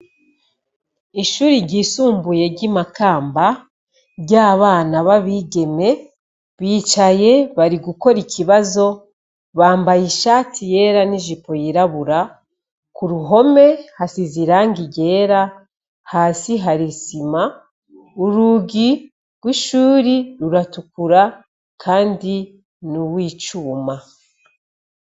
Ishuri ryisumbuye ry'i Makamba, ry'abana b'abigeme, bicaye bari gukora ikibazo, bambaye ishati yera n'ijipo yirabura. Ku ruhome hasize irangi ryera, hasi hari isima, urugi rw'ishuri ruratukura kandi ni uw'icuma.